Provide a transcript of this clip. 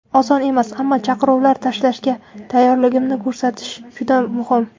Oson emas, ammo chaqiruvlar tashlashga tayyorligimni ko‘rsatish juda muhim.